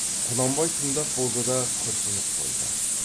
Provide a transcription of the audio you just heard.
құнанбай тыңдап болды да күрсініп қойды